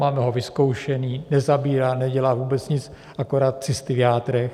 Máme ho vyzkoušený, nezabírá, nedělá vůbec nic, akorát cysty v játrech.